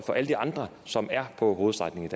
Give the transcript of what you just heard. for alle de andre som er på hovedstrækningen